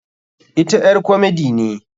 Ita ƴar komedi ne.